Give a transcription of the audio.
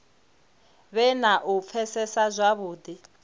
vhe na u pfesesa zwavhudi